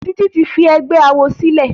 Titi tí fí ègbé àwo sílè.